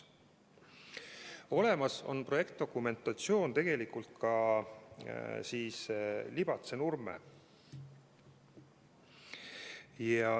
Olemas on ka projektdokumentatsioon Libatse–Nurme lõigu ehituseks.